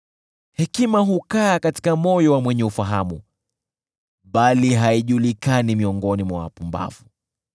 Hekima hukaa katika moyo wa mwenye ufahamu bali haijulikani miongoni mwa wapumbavu.